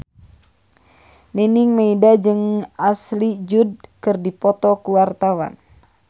Nining Meida jeung Ashley Judd keur dipoto ku wartawan